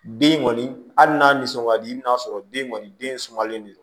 Den kɔni hali n'a nisɔn ka di i bɛn'a sɔrɔ den kɔni den sumalen don